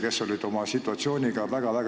... kes olid situatsiooniga väga rahul.